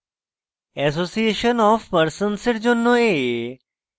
association of persons জন্য a